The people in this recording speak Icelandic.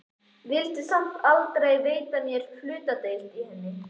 Vildi samt aldrei veita mér hlutdeild í henni.